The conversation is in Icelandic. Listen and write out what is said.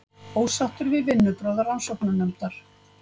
Ósáttur við vinnubrögð rannsóknarnefndar